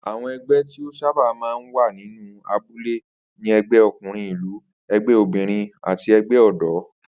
Àwo̩n e̩gbé̩ tí ó sábà máa ń wà nínú abúlé ni e̩gbé̩ o̩kùnrin ìlú, e̩gbé̩ obìnrin àti e̩gbé̩ ò̩dó̩